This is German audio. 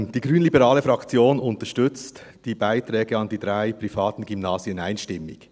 Die grünliberale Fraktion unterstützt die Beiträge an die drei privaten Gymnasien einstimmig.